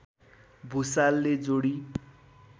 भुसालले जोडी